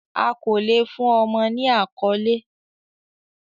A ko le fun ọmọ ni akọle